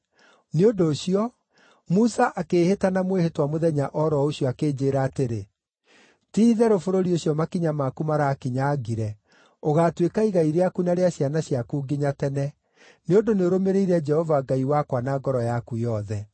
Nĩ ũndũ ũcio, Musa akĩĩhĩta na mwĩhĩtwa mũthenya o ro ũcio akĩnjĩĩra atĩrĩ, ‘Ti-itherũ bũrũri ũcio makinya maku marakinyangire ũgaatuĩka igai rĩaku na rĩa ciana ciaku nginya tene, nĩ ũndũ nĩũrũmĩrĩire Jehova Ngai wakwa na ngoro yaku yothe.’